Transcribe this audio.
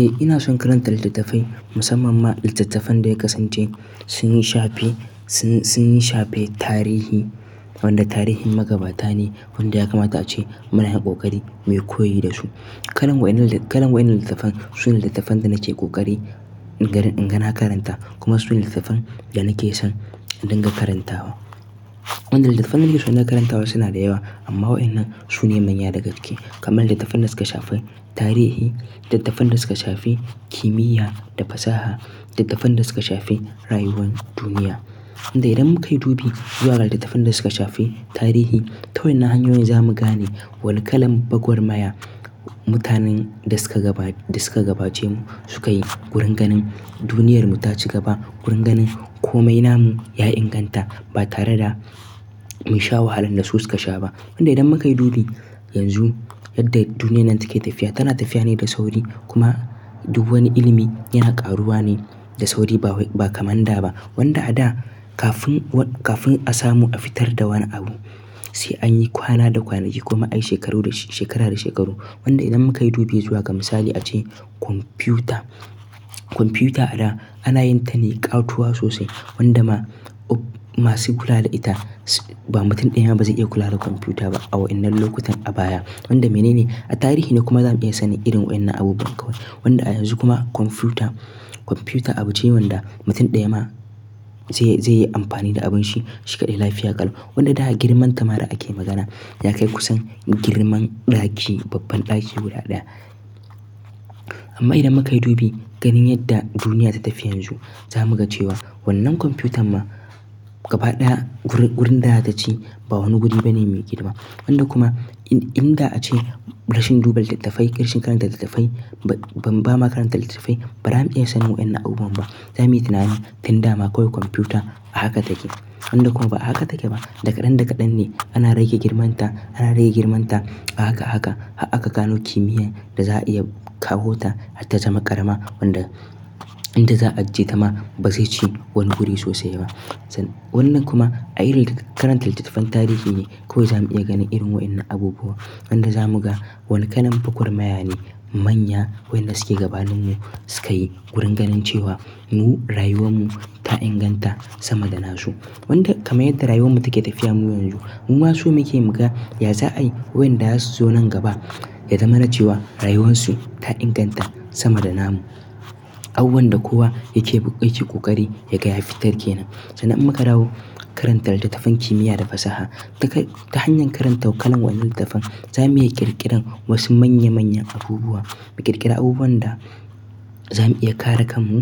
Eh ina son karanta litattafai musamman ma littattafan da ya kasance sun shafi, sun, sun shafi tarihi wanda tarihin magabata ne wanda ya kamata ace mu na yin koƙari muyi koyi da su. Kalan waɗannan littattafan sune littattafan da nake koƙari inga na karanta kuma sune littattafan da nake son in dinga karantawa wanda littattafan da nake son in dinga karantawa suna da yawa amma wa'innan su ne manya daga ciki kamar littattafan da suka shafi tarihi, littattafan da suka shafi kimiyya da fasaha, littattafan dasuka shafi rayuwan duniya. Wanda idan muka yi dubi zuwa ga littattafan dasuka shafi tarihi ta wa'innan hanyoyin za mu gane wane kalan gwagwarmaya mutanen da suka gaba, da suka gabace mu suka yi gurin ganin duniyar mu ta ci gaba, gurin ganin komai namu ya inganta ba tare da mun sha wahalan da su suka sha ba wanda idan muka yi dubi yanzu yadda duniyan nan take tafiya tana tafiya ne da sauri kuma duk wani ilimi yana ƙaruwa ne da sauri ba kaman da ba. Wanda a da kafin, kafin a samu a fitar da wani abu sai anyi kwana da kwanaki ko kuma ayi shekara da shekaru wanda idan muka yi dubi zuwa ga misali ace kwamfiyuta. Kwamfiyuta a da ana yin ta ne ƙatuwa sosai wanda ma masu kula da ita ba mutum daya ma ba zai iya kula da kwamfiyuta ba a wa'innan lokutan a baya. Wanda mene ne a tarihi ne kuma za mu iya sanin irin wa'innan abubuwan kawai. Wanda a yanzu kuma kwamfiyuta, kwamfiyuta abu ce wanda mutum ɗaya ma zai, zai yi amfani da abun shi, shi kaɗai lafiya ƙalau. Wanda da girman ta ma da ake magana yakai kusan girman ɗaki, babban ɗaki guda ɗaya, amma idan mukayi dubi ganin yadda duniya ta tafi yanzu, zamuga chewa wannan kwamfiyutar ma gaba ɗaya gurin da zata ci ba wani guri bane mai girma wanda kuma in, in da a ce rashin duba littattafai, rashin karanta littattafai ban ba ma karanta littattafai ba zamu iya sanin wa'innan abubuwan ba. Za muyi tunani tin dama kawai kwamfiyuta a haka take. Wanda kuma ba a haka take ba. Da kaɗan da kaɗan ne, ana rage girman ta ana rage girman ta a haka a haka. Har aka gano kimiyyar da za a iya kawo ta har ta zama ƙarama wanda inda za a ajiye ta ma ba zai ci wani guri sosai ba. Wannan kuma a irin karanta littattafan tarihi ne kawai za mu iya ganin irin wa'innan abubuwan. Wanda za mu ga wani kalan gwagwar maya ne manya wa'innan suke gabanin mu suka yi wurin ganin cewa mu rayuwan mu ta inganta sama da na su. Wanda kamar yadda rayuwan mu take tafiya mu yanzu mu ma so muke muga yaza ayi wayan da za su zo nan gaba ya zama na cewa rayuwan su ta inganta sama da na mu. Abubuwan da kowa yake, yake koƙari yaga ya fitar ke nan. Sannan in muka dawo karanta littattafan kimiyya da fasaha duka. Ta hanyar karanta kalar wa'innan littattafan za mu iya ƙirƙiran wasu manya manyan abubuwa. Mu ƙirƙira abubuwan da za mu iya kare kan mu.